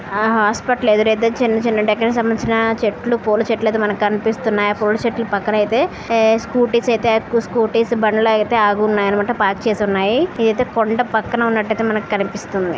ఆ హాస్పిటల్ ఎదురైతే చిన్న చిన్న డెకరేషన్ కి సంబంధించిన చెట్లు పూల చెట్లు మనకు కనిపిస్తున్నాయి ఆ పూల చెట్ల పక్కన అయితే ఏ స్కూటీ స్ అయితే ఎక్కు స్కూటీస్ బండ్లు అయితే ఆగి ఉన్నాయి అన్నమాట పార్క్ చేసి ఉన్నాయి ఇది కొండ పక్కన ఉన్నట్టు అయితే కనిపిస్తుంది.